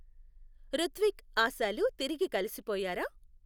ఋత్విక్, ఆశాలు తిరిగి కలిసిపోయారా?